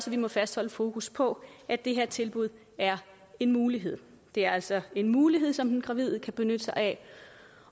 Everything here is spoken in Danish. vi må fastholde fokus på at det her tilbud er en mulighed det er altså en mulighed som den gravide kan benytte sig af